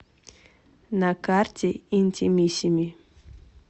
на карте интимиссими